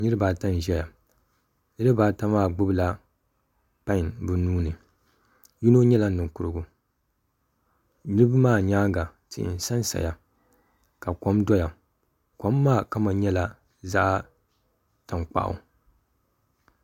Niraba ata n ʒɛya niraba ata maa gbubila pai bi nuuni yino nyɛla ninkurugu niraba maa nyaanga tihi n sansaya ka kom doya kom maa kama nyɛla zaɣ tankpaɣu